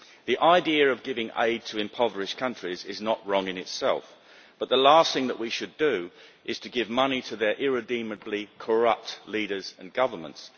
The idea of giving aid to impoverished countries is not wrong in itself, but the last thing that we should do is give money to their irredeemably corrupt leaders and governments.